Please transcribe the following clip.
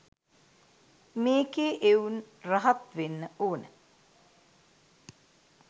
මේකේ එවුන් රහත් වෙන්න ඕන.